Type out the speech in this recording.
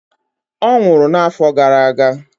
Ọ nwụrụ n'afọ gara aga